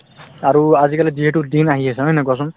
আৰু আজিকালি যিহেতু আহি আছে হয় নে নহয় কোৱাচোন